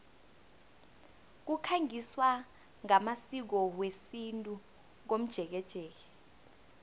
kukhangiswa ngamasiko wesintu komjekejeke